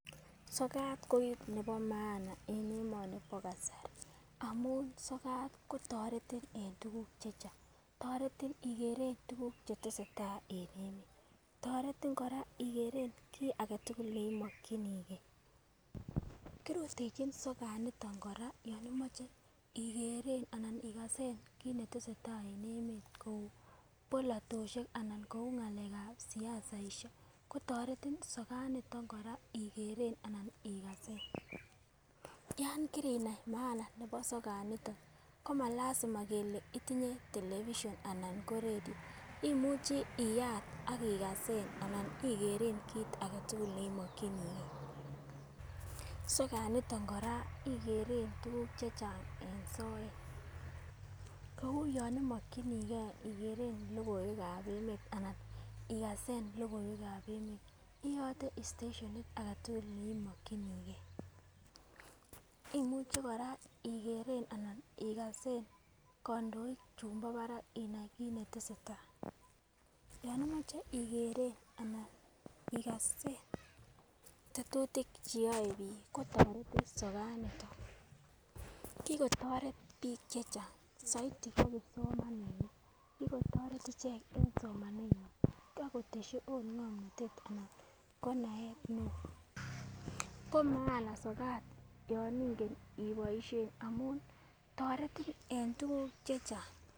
Sokat ko kit nebo maana en emoni bo kasari amun sokat kotoretin en tukuk chechang, toreti ikere tukuk chetesetai en emet. Toretin koraa ikere kii agetukul neimokinigee, kirutechin sokat ndoniton koraa yon imoche ikeren anan ikasen kit netesetai en emet bolotoshek anan ko ngalekab siasaishek ko toretin sokat niton ikeren anan ikasen. Yon kirinai maana nebo sokat initon komalasima kele itinye television anan ko redio imuche iyat akikasen anan ikeren kit agetukul neimokiniigee. Sokat niton koraa ikeren tukuk chechang en soet kou yon imokinigee ikeren lokoiwekab emet alan ikasen lokiwekab emet oyote stetionit agetukul neimokinigee .Imuche koraa ikasen anan ikere kondoik chumbo barak inai kit netesetai, yon imoche ikeren anan ikasen tetutik cheyoe bik kotoretin sokat niton. Kikotoret bik chechang soiti ko kipsomaninik kikotoret ichek en somanenywan akoteshit ot ngomnotet anan ko naet neo, bo maana sokat yon ingen iboishen amun toretin en tukuk chechang.